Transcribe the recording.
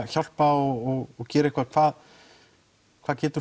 hjálpa og gera eitthvað hvað hvað getur